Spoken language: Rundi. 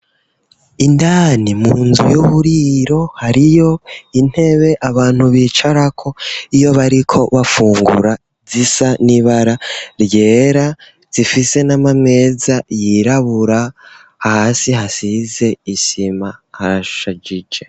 Indani mu nzu y'uburiro hariyo intebe abantu bicarako iyo bariko bafungura zisa n'ibara ryera zifise n'amameza yirabura hasi hasize isima harashajije.